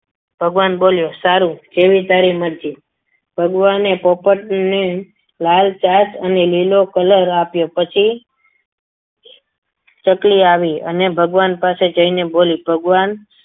ભગવાન બોલ્યો જેવી તારી મરજી ભગવાને પોપટને લાલ ચાન્સ અને લીલો કલર આપ્યો પછી ચકલી આવી અને ભગવાન પાસે જઈને બોલી ભગવાન